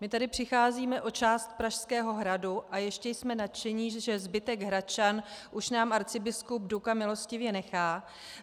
My tady přicházíme o část Pražského hradu a ještě jsme nadšeni, že zbytek Hradčan už nám arcibiskup Duka milostivě nechá.